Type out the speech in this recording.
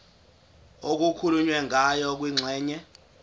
okukhulunywe ngayo kwingxenye